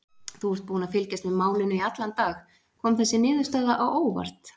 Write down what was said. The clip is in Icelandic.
Þú ert búinn að fylgjast með málinu í allan dag, kom þessi niðurstaða á óvart?